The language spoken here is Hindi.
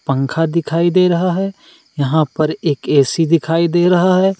पंखा दिखाई दे रहा है यहां पर एक ए.सी. दिखाई दे रहा है।